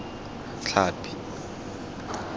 tlhapi